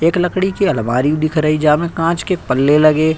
एक लकड़ी की अलमारी भी दिख रही जहां में कांच के पल्ले लगे --